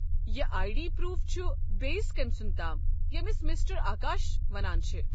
یہ I D proof چھ بیٚیس كٔمۍ سُنٛد تام ییٚمس مِسٹر آکاش ونان چھِ۔